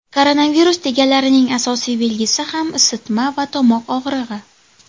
Koronavirus deganlarining asosiy belgisi ham isitma va tomoq og‘rig‘i.